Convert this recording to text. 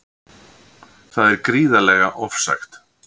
Það er gríðarlega ofsagt